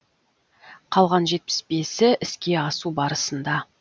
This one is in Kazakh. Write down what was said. қалған жетпіс бесі іске асу барысында